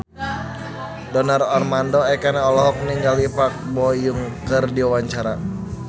Donar Armando Ekana olohok ningali Park Bo Yung keur diwawancara